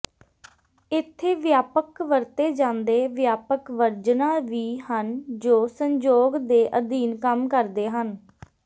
ਇੱਥੇ ਵਿਆਪਕ ਵਰਤੇ ਜਾਂਦੇ ਵਿਆਪਕ ਵਰਜਨਾਂ ਵੀ ਹਨ ਜੋ ਸੰਜੋਗ ਦੇ ਅਧੀਨ ਕੰਮ ਕਰਦੇ ਹਨ